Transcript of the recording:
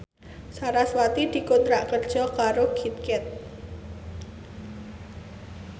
sarasvati dikontrak kerja karo Kit Kat